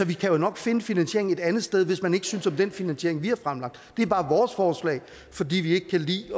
vi kan nok finde finansieringen et andet sted hvis man ikke synes om den finansiering vi har fremlagt det er bare vores forslag fordi vi ikke kan lide